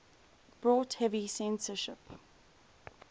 brought heavy censorship